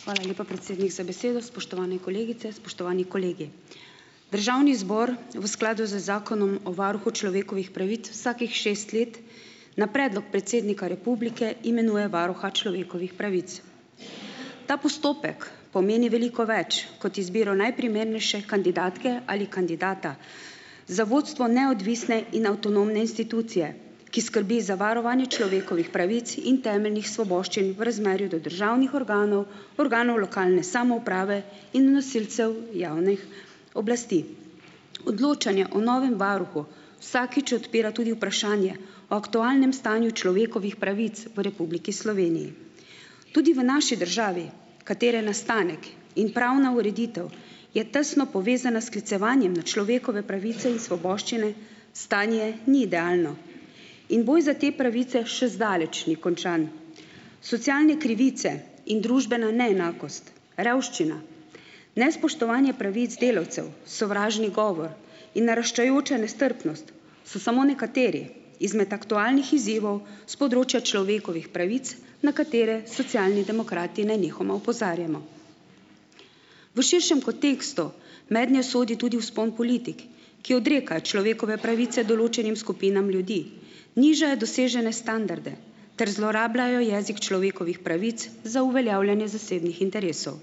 Hvala lepa, predsednik, za besedo. Spoštovane kolegice, spoštovani kolegi! Državni zbor v skladu z Zakonom o varuhu človekovih pravic, vsakih šest let na predlog predsednika republike imenuje varuha človekovih pravic. Ta postopek pomeni veliko več kot izbiro najprimernejše kandidatke ali kandidata, za vodstvo neodvisne in avtonomne institucije, ki skrbi za varovanje človekovih pravic in temeljnih svoboščin v razmerju do državnih organov, organov lokalne samouprave in nosilcev javnih oblasti. Odločanje o novem varuhu vsakič odpira tudi vprašanje o aktualnem stanju človekovih pravic v Republiki Sloveniji. Tudi v naši državi, katere nastanek in pravna ureditev je tesno povezana s sklicevanjem na človekove pravice in svoboščine, stanje ni idealno in boj za te pravice še zdaleč ni končan. Socialne krivice in družbena neenakost, revščina, nespoštovanje pravic delavcev, sovražni govor in naraščajoča nestrpnost so samo nekateri izmed aktualnih izzivov s področja človekovih pravic, na katere Socialni demokrati nenehoma opozarjamo. V širšem kontekstu mednje sodi tudi vzpon politik, ki odrekajo človekove pravice določenim skupinam ljudi, nižajo dosežene standarde ter zlorabljajo jezik človekovih pravic za uveljavljanje zasebnih interesov.